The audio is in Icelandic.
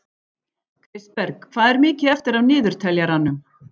Kristberg, hvað er mikið eftir af niðurteljaranum?